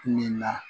Nin na